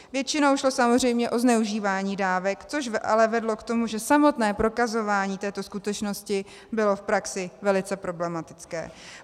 Většinou šlo samozřejmě o zneužívání dávek, což ale vedlo k tomu, že samotné prokazování této skutečnosti bylo v praxi velice problematické.